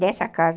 dessa casa.